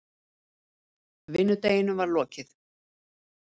Vinnudeginum var lokið.